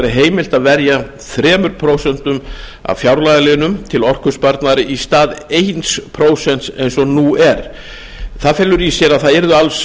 heimilt að verja þrjú prósent af fjárlagaliðnum til orkusparnaðar í stað eitt prósent eins og nú er það felur í sér að það yrðu alls